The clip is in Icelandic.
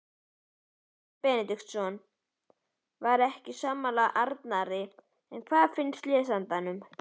Guðmundur Benediktsson var ekki sammála Arnari en hvað finnst lesendum?